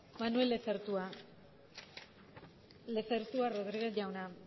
manuel lezertua lezertua rodriguez jauna